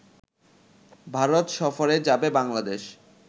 ভারত সফরে যাবে বাংলাদেশ